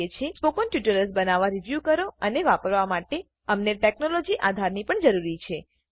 spoken tutorials બનાવવા review કરો અને વાપરવા માટે 001117 001019 અમને ટેકનોલોજી આધારની પણ જરૂર છે